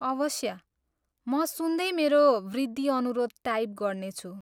अवश्य, म सुन्दै मेरो वृद्धि अनुरोध टाइप गर्नेछु।